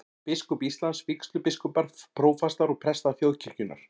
Biskup Íslands, vígslubiskupar, prófastar og prestar þjóðkirkjunnar.